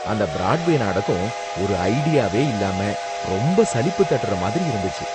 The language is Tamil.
அந்த பிராட்வே நாடகம் ஒரு ஐடியாவே இல்லாம ரொம்ப சலிப்பு தட்டற மாதிரி இருந்துச்சு.